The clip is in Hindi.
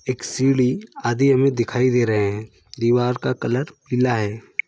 एक सीढ़ी आदि हमें दिखाई दे रहे हैं दिवार का कलर पीला हैं।